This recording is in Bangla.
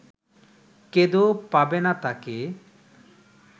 কেঁদেও পাবে না তাকে